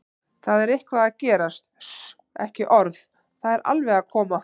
það er eitthvað að gerast, suss, ekki orð, það er alveg að koma!